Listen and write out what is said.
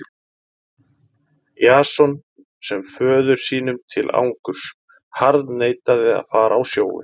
Jason sem föður sínum til angurs harðneitaði að fara á sjóinn.